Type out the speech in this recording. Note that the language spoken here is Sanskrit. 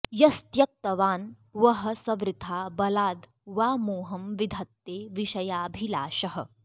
यस्त्यक्तवान् वः स वृथा बलाद् वा मोहं विधत्ते विषयाभिलाषः